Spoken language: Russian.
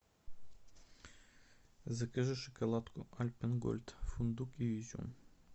закажи шоколадку альпен гольд фундук и изюм